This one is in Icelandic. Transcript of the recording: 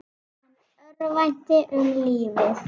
Hann örvænti um lífið.